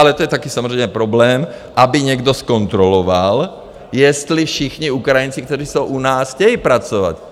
Ale to je taky samozřejmě problém, aby někdo zkontroloval, jestli všichni Ukrajinci, kteří jsou u nás, chtějí pracovat.